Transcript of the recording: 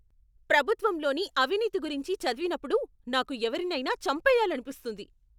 ప్రభుత్వంలోని అవినీతి గురించి చదివినప్పుడు నాకు ఎవరినైనా చంపెయ్యాలనిపిస్తుంది.